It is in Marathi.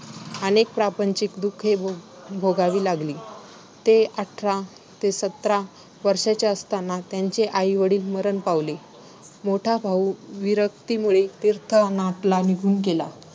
अनेक प्रापंचिक दुःखे भो~ भोगावी लागली. ते अठरा ते सतरा वर्षांचे असताना त्यांचे आई-वडील मरण पावले, मोठा भाऊ विरक्तीमुळे तीर्थाटनाला निघून गेला.